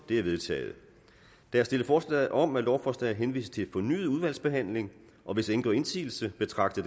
det er vedtaget der er stillet forslag om at lovforslaget henvises til fornyet udvalgsbehandling hvis ingen gør indsigelse betragter